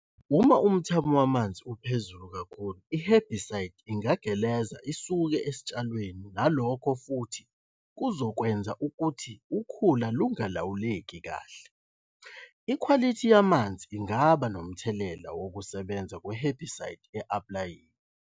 Uma umthamo wamanzi uphezulu kakhulu i-herbicide ingageleza isuke esitshalweni nalokho futhi kuzokwenza ukuthi ukhula lungalawuleki kahle. Ikhwalithi yamanzi ingaba nomthelela wokusebenza kwe-herbicide e-aplayiwe.